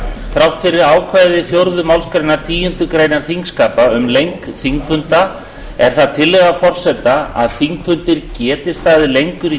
þrátt fyrir ákvæði fjórðu málsgreinar tíundu greinar þingskapa um lengd þingfunda er það tillaga forseta að þingfundir geti staðið lengur í